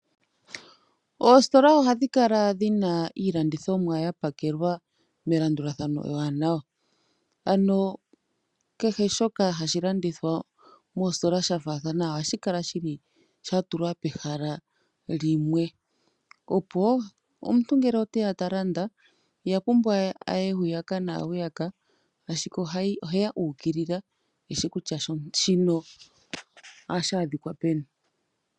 Oositola ohadhi kala dhina iilandithomwa yapakelwa melandulathano eewanawa. Ano kehe shoka hashi landithwa moositola shafaathana ohashi kala shili shatulwa pehala limwe, opo omuntu ngele oteya talanda ihapumbwa we aye hwiyaka naa hwiyaka, ashike oheya u ukilila eshi kutya shino ohashi adhika peni.